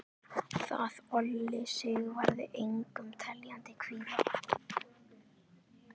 Það olli Sigvarði engum teljandi kvíða.